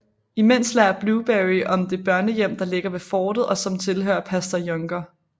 Imens lærer Blueberry om det børnehjem der ligger ved fortet og som tilhører pastor Younger